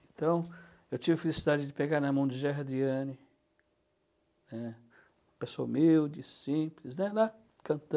Então, eu tive a felicidade de pegar na mão de Gerardiane, né, pessoa humilde, simples, né